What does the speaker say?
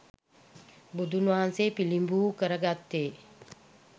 බුදුන් වහන්සේ පිළිබිඹු කරගත්තේ